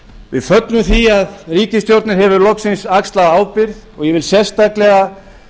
við fögnum því að ríkisstjórnin hefur loksins axlað ábyrgð og ég vil sérstaklega